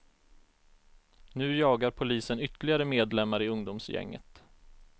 Nu jagar polisen ytterligare medlemmar i ungdomsgänget.